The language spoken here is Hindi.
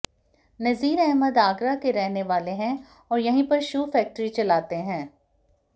नजीर अहमद आगरा के रहने वाले हैं और यहीं पर शू फैकट्री चलाते हैं